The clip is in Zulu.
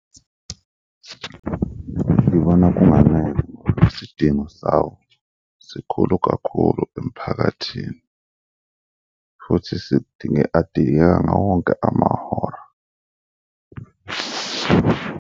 Ngibona kunganele, isidingo sawo sikhulu kakhulu emphakathini futhi sidinge, adingeka ngawo wonke amahora.